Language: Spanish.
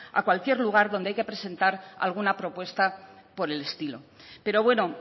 a cualquier lugar donde hay que presentar alguna propuesta por el estilo pero bueno